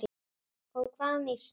Og hvað um Ísland?